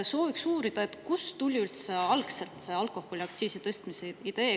Sooviksin uurida, kust tuli üldse alkoholiaktsiisi tõstmise idee.